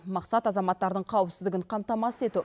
мақсат азаматтардың қауіпсіздігін қамтамасыз ету